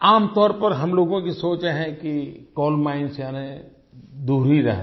आम तौर पर हम लोगों की सोच है कि कोल माइन्स यानि दूर ही रहना